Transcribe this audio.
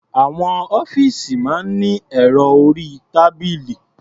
Àwọn ọ́fíìsì máa ní ẹ̀rọ orí-tábìlì.